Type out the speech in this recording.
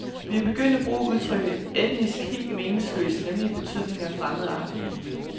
Vi er begyndt at bruge udtrykket etnisk helt meningsløst nemlig i betydningen fremmedartet.